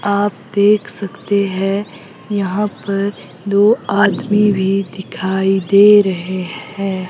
आप देख सकते हैं यहां पर दो आदमी भी दिखाई दे रहे हैं।